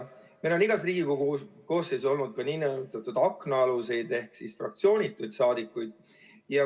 Meil on igas Riigikogu koosseisus olnud ka nn aknaaluseid ehk siis fraktsioonituid saadikuid.